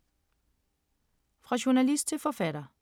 Fra journalist til forfatter